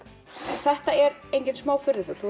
þetta er engin smá furðufugl þú